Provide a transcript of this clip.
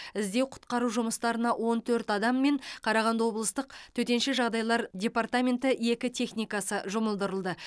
іздеу құтқару жұмыстарына он төрт адам мен қарағанды облыстық төтенше жағдайлар департаменті екі техникасы жұмылдырылды